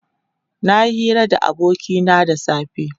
Nayi hira da abokina da safe.